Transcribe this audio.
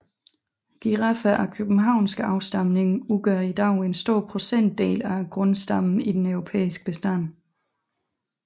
Giraffer af københavnsk afstamning udgør i dag en stor procentdel af grundstammen i den europæiske bestand